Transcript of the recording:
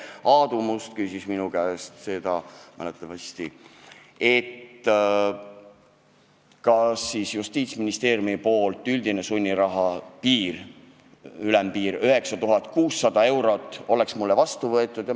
Aadu Must küsis minu käest, kas Justiitsministeeriumi üldine sunniraha ülempiir 9600 eurot oleks mulle vastuvõetav.